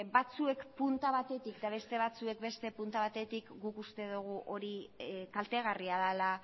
batzuek punta batetik eta beste batzuekin beste punta batetik guk uste dugu hori kaltegarria dela